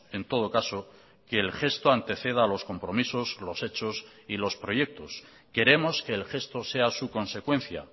en todo caso que el gesto anteceda a los compromisos los hechos y los proyectos queremos que el gesto sea su consecuencia